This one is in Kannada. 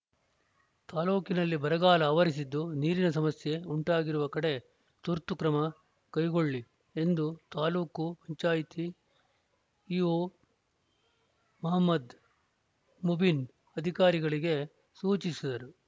ತಾಲೂಕಿನಲ್ಲಿ ಬರಗಾಲ ಆವರಿಸಿದ್ದು ನೀರಿನ ಸಮಸ್ಯೆ ಉಂಟಾಗಿರುವ ಕಡೆ ತುರ್ತು ಕ್ರಮ ಕೈಗೊಳ್ಳಿ ಎಂದು ತಾಲೂಕು ಪಂಚಾಯ್ತಿ ಇಒ ಮಹಮದ್‌ ಮುಬೀನ್‌ ಅಧಿಕಾರಿಗಳಿಗೆ ಸೂಚಿಸಿದರು